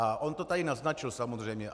A on to tady naznačil, samozřejmě.